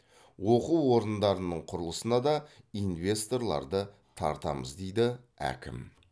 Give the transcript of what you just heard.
оқу орындарының құрылысына да инвесторларды тартамыз дейді әкім